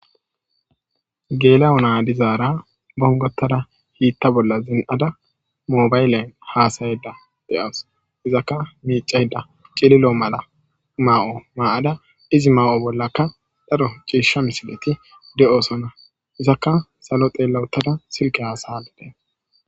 geela7o naa dizaara bongotada hiitta bolla zin7ada moobaylen haasayeda de7awus izakka miicayda cililo mala maa7o ma7ada izi maa7o bollakka dharo ciisha misileti de7osona izakka salo xeelawutada silge hasaylide